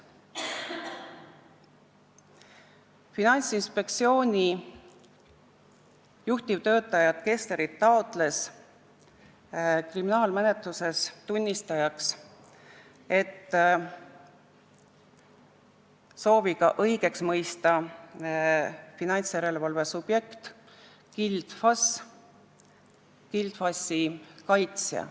Finantsinspektsiooni juhtivtöötajat Kesslerit taotles kriminaalmenetluses tunnistajaks, sooviga õigeks mõista finantsjärelevalve subjekt Gild FAS, Gild FAS-i kaitsja.